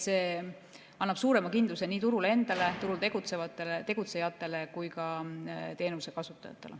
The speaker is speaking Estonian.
See annab suurema kindluse nii turule endale, turul tegutsejatele kui ka teenuse kasutajatele.